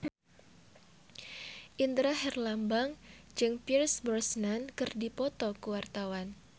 Indra Herlambang jeung Pierce Brosnan keur dipoto ku wartawan